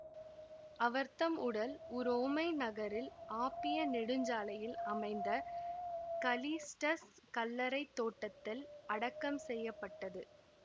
அவர்தம் உடல் உரோமை நகரில் ஆப்பிய நெடுஞ்சாலையில் அமைந்த கலிஸ்டஸ் கல்லறை தோட்டத்தில் அடக்கம் செய்ய பட்டது